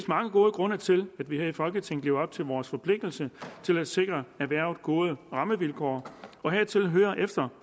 mange gode grunde til at vi her i folketinget lever op til vores forpligtelse til at sikre erhvervet gode rammevilkår og hertil hører efter